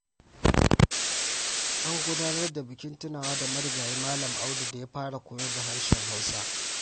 An gudanar da bukin tunawa da marigayi Malam Audu da ya fara koyar da harshen Hausa.